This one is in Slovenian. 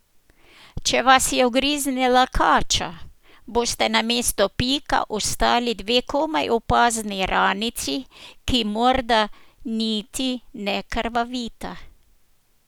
Če vas je ugriznila kača, bosta na mestu pika ostali dve komaj opazni ranici, ki morda niti ne krvavita.